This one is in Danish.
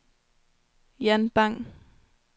Jan Bang